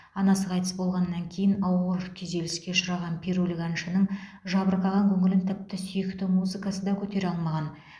анасы қайтыс болғаннан кейін ауыр күйзеліске ұшыраған перулік әншінің жабырқаған көңілін тіпті сүйікті музыкасы да көтере алмаған